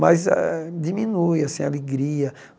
Mas ah diminui, assim, a alegria.